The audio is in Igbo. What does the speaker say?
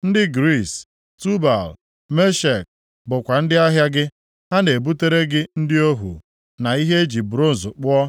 “ ‘Ndị Griis, + 27:13 Maọbụ, Javan Tubal na Meshek, bụkwa ndị ahịa gị. Ha na-ebutere gị ndị ohu, na ihe e ji bronz kpụọ,